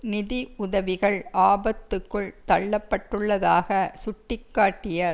நிதி உதவிகள் ஆபத்துக்குள் தள்ளப்பட்டுள்ளதாக சுட்டி காட்டிய